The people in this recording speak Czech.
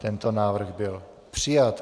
Tento návrh byl přijat.